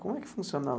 Como é que funcionava?